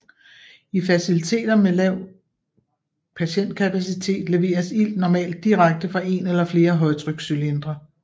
I faciliteter med en lav patientkapacitet leveres ilt normalt direkte fra en eller flere højtrykscylindre